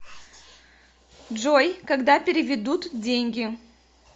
джой когда переведут деньги